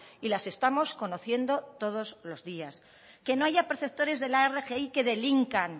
y las estamos conociendo todos los días que no haya receptores de la rgi que delincan